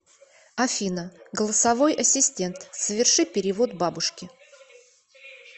афина голосовой ассистент соверши перевод бабушке